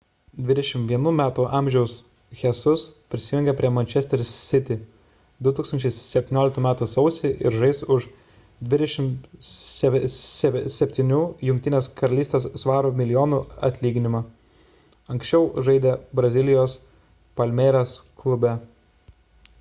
21 metų amžiaus jesus prisijungė prie manchester city 2017 m sausį ir žais už 27 gbp milijonų atlyginimą anksčiau žaidė brazilijos palmeiras klube